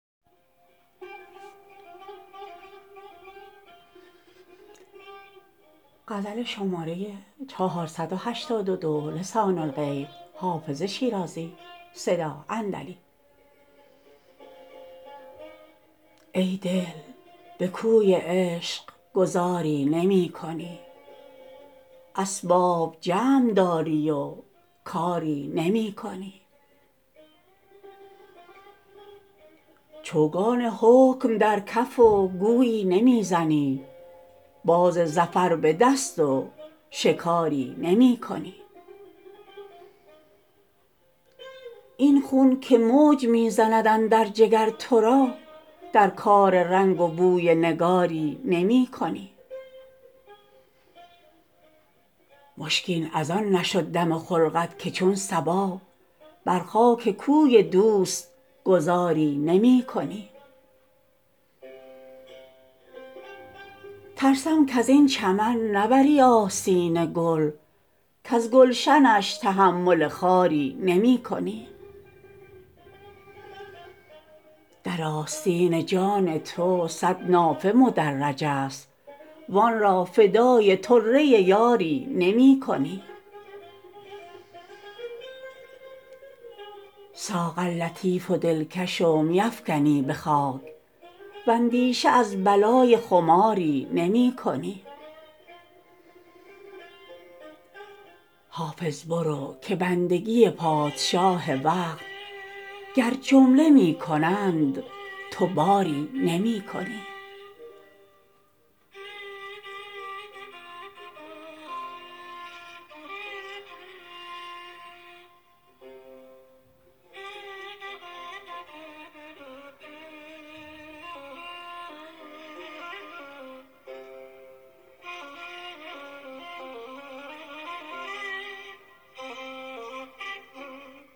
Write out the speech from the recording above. ای دل به کوی عشق گذاری نمی کنی اسباب جمع داری و کاری نمی کنی چوگان حکم در کف و گویی نمی زنی باز ظفر به دست و شکاری نمی کنی این خون که موج می زند اندر جگر تو را در کار رنگ و بوی نگاری نمی کنی مشکین از آن نشد دم خلقت که چون صبا بر خاک کوی دوست گذاری نمی کنی ترسم کز این چمن نبری آستین گل کز گلشنش تحمل خاری نمی کنی در آستین جان تو صد نافه مدرج است وآن را فدای طره یاری نمی کنی ساغر لطیف و دلکش و می افکنی به خاک واندیشه از بلای خماری نمی کنی حافظ برو که بندگی پادشاه وقت گر جمله می کنند تو باری نمی کنی